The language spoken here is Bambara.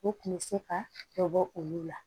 U kun bɛ se ka dɔ bɔ olu la